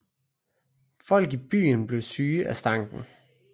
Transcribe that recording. Folk i byen blev syge af stanken